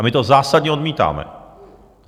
A my to zásadně odmítáme!